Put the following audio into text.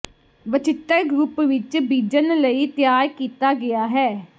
ਵੱਚਿਤਰ group ਵਿੱਚ ਬੀਜਣ ਲਈ ਤਿਆਰ ਕੀਤਾ ਗਿਆ ਹੈ